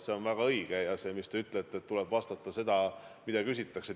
See on väga õige: nagu te ütlete, tuleb vastata sellele, mida küsitakse.